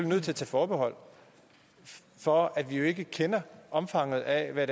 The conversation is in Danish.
nødt til at tage forbehold for at vi jo ikke kender omfanget af hvad